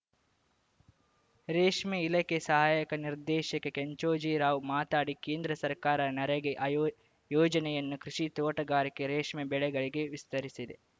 ರೇಷ್ಮೆ ಇಲಾಖೆ ಸಹಾಯಕ ನಿರ್ದೇಶಕ ಕೆಂಚೋಜಿರಾವ್‌ ಮಾತಾಡಿ ಕೇಂದ್ರ ಸರ್ಕಾರ ನರೇಗೇ ಆಯೋ ಯೋಜನೆಯನ್ನು ಕೃಷಿ ತೋಟಗಾರಿಕೆ ರೇಷ್ಮೆ ಬೆಳೆಗಳಿಗೆ ವಿಸ್ತರಿಸಿದೆ